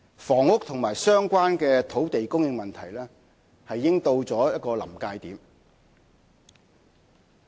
房屋和相關的土地供應問題已經到了臨界點。